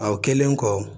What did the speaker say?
O kɛlen kɔ